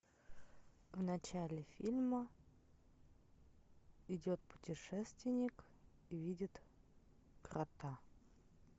в начале фильма идет путешественник и видит кота